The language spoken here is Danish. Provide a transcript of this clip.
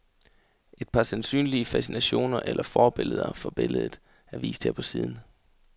Et par sandsynlige fascinationer eller forbilleder for billedet er vist her på siden.